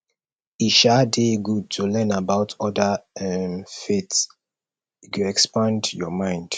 e um dey good to learn about oda um faiths e go expand your mind